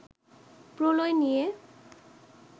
প্রলয় নিয়ে